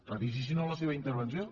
revisi si no la seva intervenció